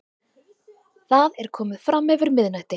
Það er komið framyfir miðnætti.